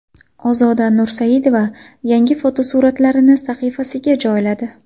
Ozoda Nursaidova yangi fotosuratlarini sahifasiga joyladi.